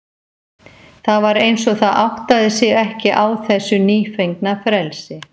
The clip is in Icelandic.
Það var eins og það áttaði sig ekki á þessu nýfengna frelsi.